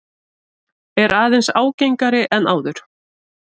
Er aðeins ágengari en áður.